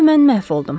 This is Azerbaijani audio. Onda mən məhv oldum.